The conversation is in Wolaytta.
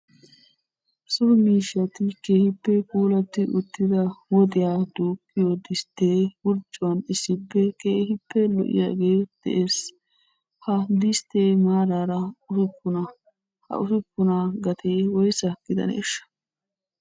So miishshati keehippe puulatti uttida woxiyaa duuqqiyo distte wurccuwaan issippe keehippe lo"iyaagee de'ees. Ha disttee maaraara usuppuna. Ha usuppunaa gatee woysa gidaneeshsha?